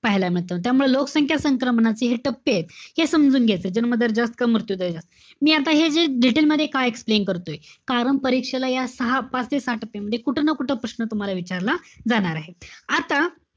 पाहायला मिळतं. त्यामुळे लोकसंख्या संक्रमणाचे हे टप्पेत. हे समजून घ्यायचं. जन्म दर जास्त का मृत्यू दर जास्त. मी आता हे जे detail मध्ये का explain करतोय? कारण परीक्षेला या सहा, पाच ते सहा टप्प्यामध्ये कुठे ना कुठं प्रश्न तुम्हाला विचारला जाणार आहे. आता,